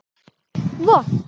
Og vont.